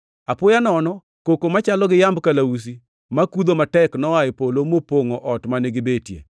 Apoya nono, koko machalo gi yamb kalausi makudho matek noa e polo mopongʼo ot mane gibetie.